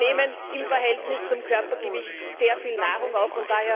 Das heißt, wir nehmen im Verhältnis zum Körpergewicht sehr viel Nahrung auf.